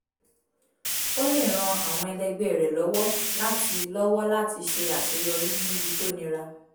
ó lè ran àwọn ẹlẹgbẹ́ rẹ̀ lọ́wọ́ láti lọ́wọ́ láti ṣe àṣeyọrí níbi tó nira